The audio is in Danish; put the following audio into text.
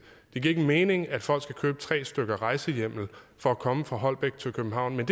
ikke mening at folk skulle købe tre stykker rejsehjemmel for at komme fra holbæk til københavn men